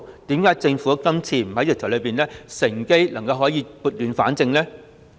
為何政府今次修訂條例時不趁機撥亂反正？